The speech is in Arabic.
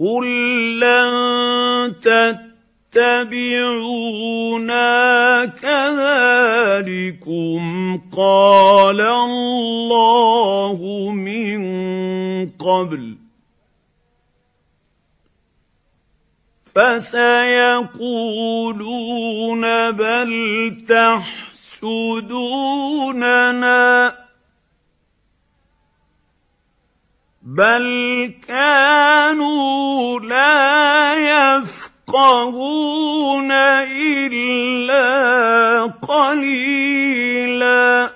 قُل لَّن تَتَّبِعُونَا كَذَٰلِكُمْ قَالَ اللَّهُ مِن قَبْلُ ۖ فَسَيَقُولُونَ بَلْ تَحْسُدُونَنَا ۚ بَلْ كَانُوا لَا يَفْقَهُونَ إِلَّا قَلِيلًا